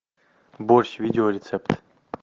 борщ видеорецепт